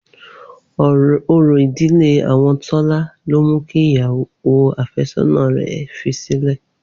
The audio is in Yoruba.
Orò ìdílé àwọn Tọ́lá ló mu kí ìyàwó àfẹ́sọ́nà rẹ̀ fi sílẹ̀.